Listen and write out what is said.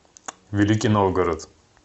великий новгород